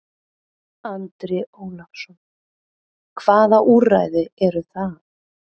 Andri Ólafsson: Hvaða úrræði eru það?